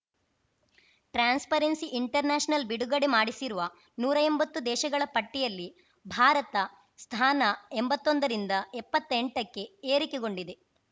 transparency international ಬಿಡುಗಡೆ ಮಾಡಸಿರುವ ನೂರಾ ಎಂಬತ್ತು ದೇಶಗಳ ಪಟ್ಟಿಯಲ್ಲಿ ಭಾರತ ಸ್ಥಾನ ಎಂಬತ್ತೊಂದರಿಂದ ಎಪ್ಪತ್ತೆಂಟಕ್ಕೆ ಏರಿಕೆ ಗೊಂಡಿದೆ